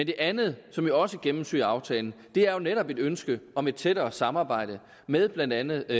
det andet som jo også gennemsyrer aftalen er netop et ønske om et tættere samarbejde med blandt andet